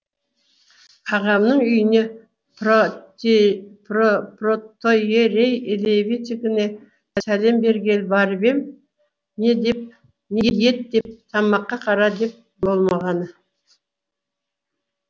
ағамның үйіне протоиерей елеевтікіне сәлем бергелі барып ем не ет деп тамаққа қара деп болмағаны